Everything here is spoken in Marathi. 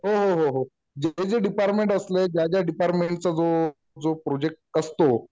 हो हो. जिथं जे डिपार्टमेंट असले ज्या ज्या डिपार्टमेंटचा जो प्रोजेक्ट असतो.